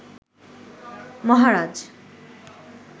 মহারাজ